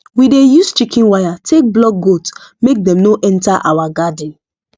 we dey use chicken wire take block goat make dem no enter our garden